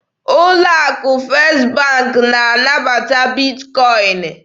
Ụlọ akụ First bank na-anabata Bitkọin